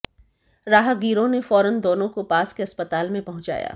राहगीरों ने फौरन दोनों को पास के अस्पताल में पहुंचाया